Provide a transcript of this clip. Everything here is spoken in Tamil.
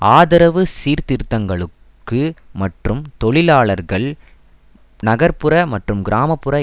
ஆதரவு சீர்திருத்தங்களுக்கு மற்றும் தொழிலாளர்கள் நகர் புற மற்றும் கிராம புற